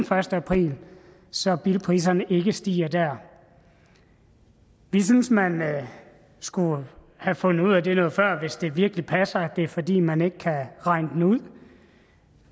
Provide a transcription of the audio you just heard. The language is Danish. første april så bilpriserne ikke stiger der vi synes man skulle have fundet ud af det noget før hvis det virkelig passer at det er fordi man ikke kan regne det ud